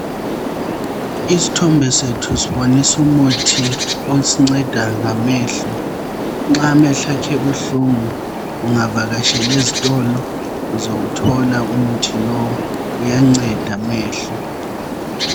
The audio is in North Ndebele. Isithombe sethu sibonisa umuthi osinceda ngamehlo. Nxa amehlo akho ebuhlungu ungavakatshela ezitolo uzawuthola umuthi lowu uyanceda amehlo.